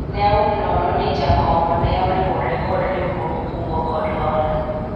ne aum nono ni jakong'o no ne oriwore kod riwruog kungo kod hola